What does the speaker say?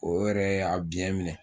O yɛrɛ y'a biyɛn minɛ